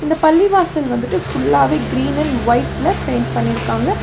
பள்ளிவாசல் வந்துட்டு ஃபுல்லாவே கிரீன் அண்ட் ஒயிட்ல பெயிண்ட் பண்ணிருக்காங்க.